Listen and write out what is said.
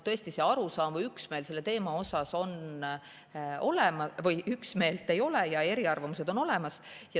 Tõesti, üht arusaama või üksmeelt selle osas ei ole, eriarvamused on olemas.